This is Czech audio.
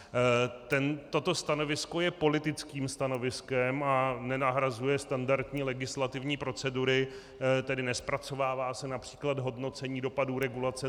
Toto stanovisko je politickým stanoviskem a nenahrazuje standardní legislativní procedury, tedy nezpracovává se například hodnocení dopadů regulace.